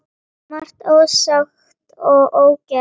Svo margt ósagt og ógert.